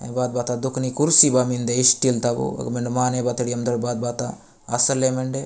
एक बात बता दो की न कुर्सी वा मिन्दे स्टील तवो अग मेड माने बाथडीम या बात बता असले मंडे।